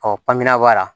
Ɔ panpinɛ b'a la